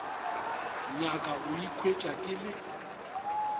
nyaka go ikhwetša ke le